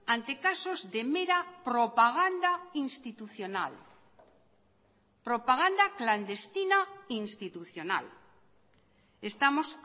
ante casos de mera propaganda institucional propaganda clandestina institucional estamos